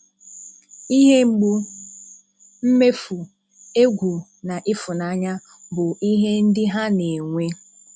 Ihe mgbu, mmefu, egwu na ịfụnanya bụ ihe ndị ha na-enwe.